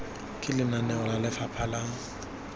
ke lenaneo la lefapha la